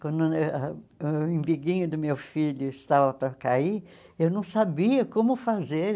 Quando ãh o umbiguinho do meu filho estava para cair, eu não sabia como fazer.